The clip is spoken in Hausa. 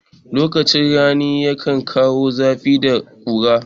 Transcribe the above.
Lokacin rani yakan kawo zafi da ƙura.